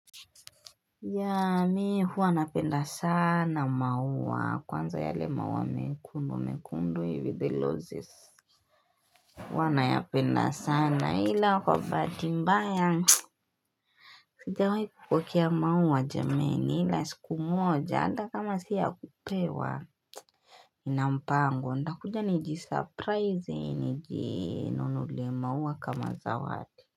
Ya mi huwa napenda sana maua kwanza yale maua mekundu mekundu with the losses Huwa nayapenda sana ila kwa bahati mbaya Sijawahi kupokea maua jameni ila siku moja ata kama si ya kupewa nina mpango nitakuja niji surprise niji nunulie maua kama zawadi.